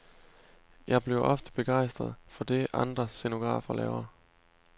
Jeg bliver ofte begejstret for det andre scenografer laver.